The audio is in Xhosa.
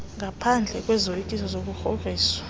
ngaphendle kwezoyikiso zokugrogriswa